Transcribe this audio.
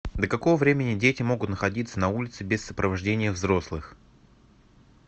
до какого времени дети могут находиться на улице без сопровождения взрослых